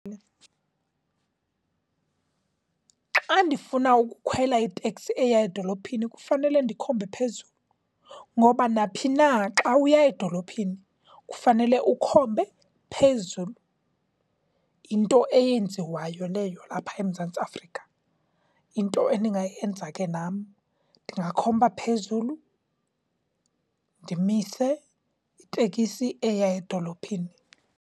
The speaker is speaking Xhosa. Xa ndifuna ukukhwela iteksi eya edolophini kufanele ndikhombe phezulu, ngoba naphi na xa uya edolophini kufanele ukhombe phezulu. Yinto eyenziwayo leyo lapha eMzantsi Afrika. Yinto endingayenza ke nam, ndingakhomba phezulu, ndimise itekisi eya edolophini.